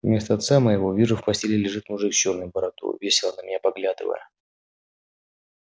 вместо отца моего вижу в постеле лежит мужик с чёрной бородою весело на меня поглядывая